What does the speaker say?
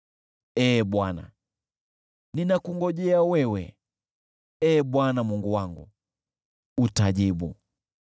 Ee Bwana , ninakungojea wewe, Ee Bwana Mungu wangu, utajibu.